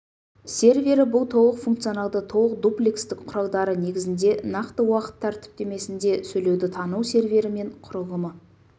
сервері бұл толық функционалды толық дуплекстік құралдары негізінде нақты уақыт тәртіптемесінде сөйлеуді тану сервері мен құрылымы